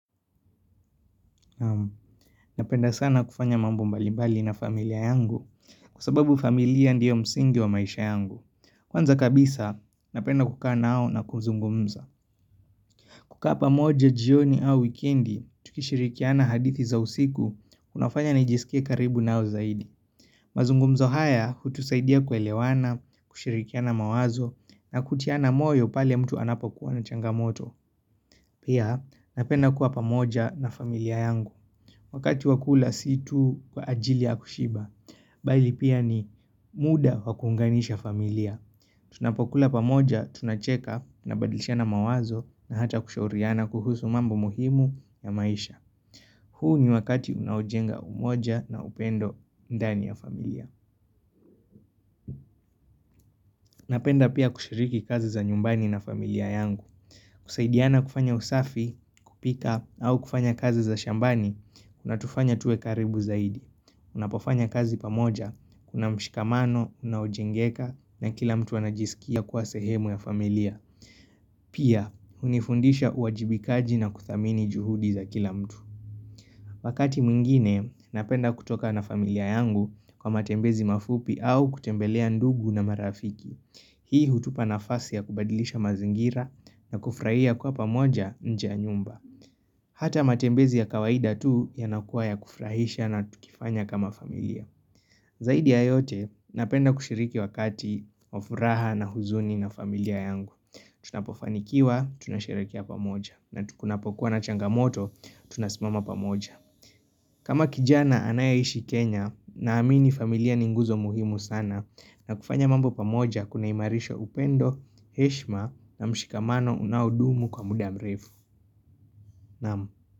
Napenda sana kufanya mambp mbalimbali na familia yangu kwa sababu familia ndiyo msingi wa maisha yangu Kwanza kabisa napenda kukaa nao na kuzungumza kukaa pamoja jioni au wikendi tukishirikiana hadithi za usiku kunafanya najisikie karibu nao zaidi mazungumzo haya hutusaidia kuelewana, kushirikiana mawazo na kutiana moyo pale mtu anapokuwa na changamoto Pia napenda kuwa pamoja na familia yangu Wakati wa kula si tu kwa ajili ya kushiba, bali pia ni muda wa kuunganisha familia. Tunapokula pamoja, tunacheka, tunabadlishana mawazo na hata kushauriana kuhusu mambo muhimu ya maisha. Huu ni wakati unaojenga umoja na upendo ndani ya familia. Napenda pia kushiriki kazi za nyumbani na familia yangu. Kusaidiana kufanya usafi, kupika, au kufanya kazi za shambani, unatufanya tuwe karibu zaidi. Unapofanya kazi pamoja, kuna mshikamano, unaojengeka na kila mtu anajisikia kuwa sehemu ya familia Pia, unifundisha uajibikaji na kuthamini juhudi za kila mtu Wakati mwingine, napenda kutoka na familia yangu kwa matembezi mafupi au kutembelea ndugu na marafiki Hii hutupa nafasi ya kubadilisha mazingira na kufurahia kiwa pamoja nje ya nyumba Hata matembezi ya kawaida tu ya yanakuwa ya kufurahisha na tukifanya kama familia. Zaidi ya yote, napenda kushiriki wakati wa furaha na huzuni na familia yangu. Tunapofanikiwa, tunasherekea pamoja. Na tukunapokuwa na changamoto, tunasimama pamoja. Kama kijana anayeishi Kenya, naamini familia ni nguzo muhimu sana. Na kufanya mambo pamoja, kunaimarisho upendo, heshma na mshikamano unaodumu kwa muda mrefu. Naam.